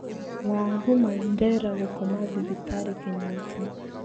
WangũmMandera gũkoma thibitarĩ Kĩnyata.